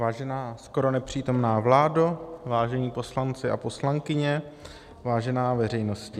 Vážená skoro nepřítomná vládo, vážení poslanci a poslankyně, vážená veřejnosti.